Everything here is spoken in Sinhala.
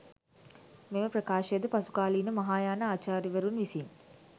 මෙම ප්‍රකාශයද පසුකාලීන මහායාන ආචාර්යවරුන් විසින්